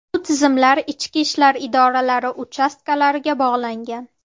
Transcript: Bu tizimlar ichki ishlar idoralari uchastkalariga bog‘langan.